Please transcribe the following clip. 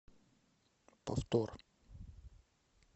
повтор